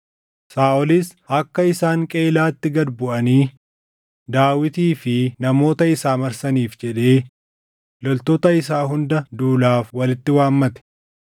Saaʼolis akka isaan Qeyiilaatti gad buʼanii Daawitii fi namoota isaa marsaniif jedhee loltoota isaa hunda duulaaf walitti waammate.